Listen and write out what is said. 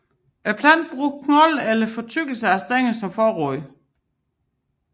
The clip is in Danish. Planten bruger knoldene eller fortykkelsen af stænglerne som forråd